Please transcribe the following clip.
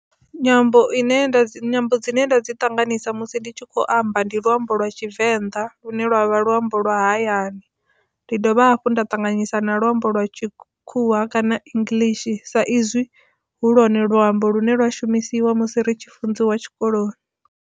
Nyambo ine nda dzi, nyambo dzine nda dzi ṱanganisa musi ndi tshi kho amba ndi luambo lwa Tshivenḓa lune lwavha luambo lwa hayani ndi dovha hafhu nda ṱanganyisa na luambo lwa Tshikhuwa kana English sa izwi hu lwone luambo lune lwa shumisiwa musi ri tshi funziwa Tshikoloni.